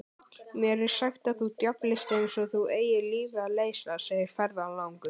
Mér er sagt að þú djöflist eins og þú eigir lífið að leysa, segir ferðalangur.